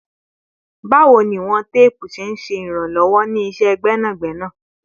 Bawo ni iwọn teepu ṣe iranlọwọ ni iṣẹ gbẹnagbẹna?